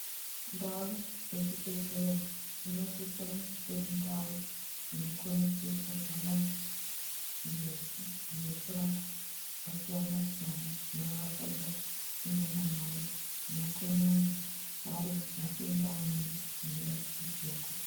Ndau dzechibhedhlera dzinosisa kunge dziri ndau dzonokona kudetserwa vantu ngekurapwa zvakasiyana siyana zvinovarwadza munyama mawo zvinokona kunge ari matenda amweni anode........